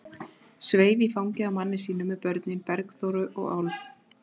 Sveif í fangið á manni sínum með börnin, Bergþóru og Álf.